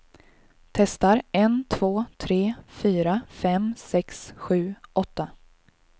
Testar en två tre fyra fem sex sju åtta.